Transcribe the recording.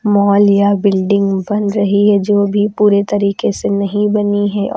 mall या building बन रही है जो अभी पूरे तरीके से नहीं बनी है और--